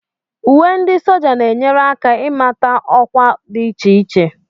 Uwe ndi sójá na-enyere aka ịmata ọkwa dị iche iche